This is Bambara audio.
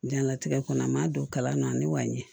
Jɛnlatigɛ kɔnɔ an m'a don kalan na ne b'a ɲɛ